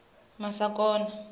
masakona